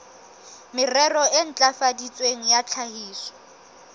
merero e ntlafaditsweng ya tlhahiso